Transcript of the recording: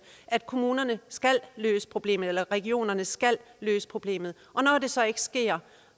at kommunerne skal løse problemet eller at regionerne skal løse problemet når det så ikke sker